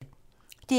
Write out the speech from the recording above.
DR1